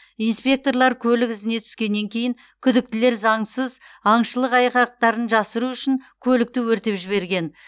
инспекторлар көлік ізіне түскеннен кейін күдіктілер заңсыз аңшылық айғақтарын жасыру үшін көлікті өртеп жіберген